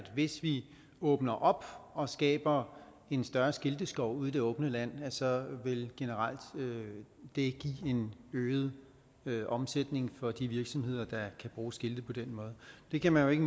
hvis vi åbner op og skaber en større skilteskov ude i det åbne land så vil det generelt give en øget øget omsætning for de virksomheder der kan bruge skilte på den måde det kan man jo ikke